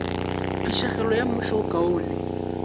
phišegelo ya mmušo wo kaone